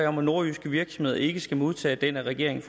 om at nordjyske virksomheder ikke skal modtage den af regeringen